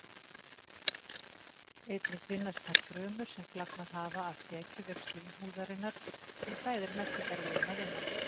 Einnig finnast þar frumur sem flagnað hafa af þekjuvef slímhúðarinnar sem klæðir meltingarveginn að innan.